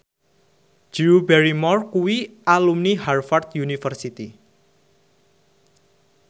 Drew Barrymore kuwi alumni Harvard university